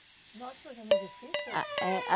Nossa, mas é muito difícil? Ah é ah